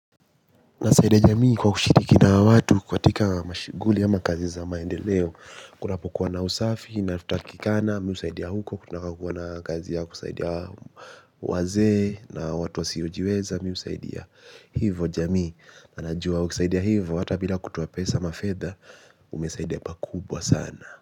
Nasaidia ya jamii kwa kushiriki na watu katika mashughuli ama kazi za maendeleo. Kunapokuwa na usafi na natakikana mimi husaidia huko. Kunapokuwa na kazi ya kusaidia wazee na watu wasiojiweza mimi husaidia hivo jamii na najua ukisaidia hivo hata bila kutoa pesa ama fedha umesaidia pakubwa sana.